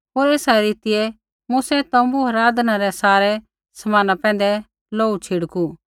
होर एसा रीतियै मूसै तोम्बू होर आराधना रै सारै समाना पैंधै लोहू छिड़कू